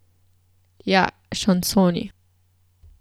Ja, šansoni.